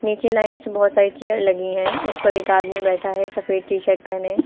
नीचे लाइन से बोहोत सारी चेयर लगी हैं उस पर एक आदमी बैठा है सफेद टी शर्ट पहने।